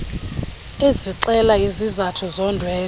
ezixela izizathu zondwendwe